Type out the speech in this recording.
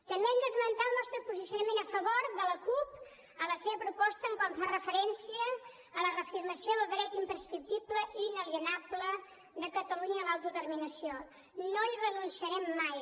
també hem d’esmentar el nostre posicionament a favor de la cup en la seva proposta quan fa referència a la reafirmació del dret imprescriptible i inalienable de catalunya a l’autodeterminació no hi renunciarem mai